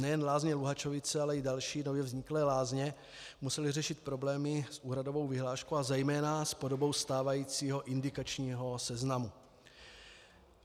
Nejen Lázně Luhačovice, ale i další nově vzniklé lázně musely řešit problémy s úhradovou vyhláškou a zejména s podobou stávajícího indikačního seznamu.